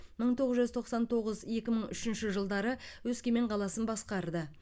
мың тоғыз жүз тоқсан тоғыз екі мың үшінші жылдары өскемен қаласын басқарды